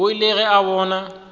o ile ge a bona